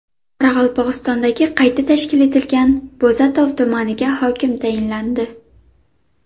Qoraqalpog‘istondagi qayta tashkil etilgan Bo‘zatov tumaniga hokim tayinlandi.